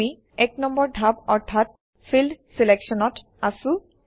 আমি ১ নম্বৰ ধাপ অৰ্থাৎ ফিল্ড Selection অত আছোঁ